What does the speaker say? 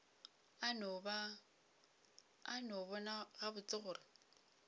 a no bona gabotse gore